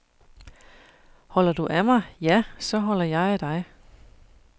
Holder du af mig, ja, så holder jeg af dig.